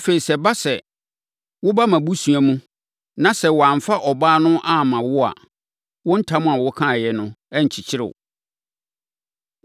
Afei, sɛ ɛba sɛ, woba mʼabusua mu, na sɛ wɔamfa ɔbaa no amma wo a, wo ntam a wokaeɛ no renkyekyere wo.’